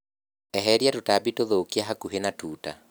Eheria tũtambi tũthũkia hakuhĩ na tuta.